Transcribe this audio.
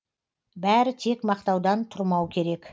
бәрі тек мақтаудан тұрмау керек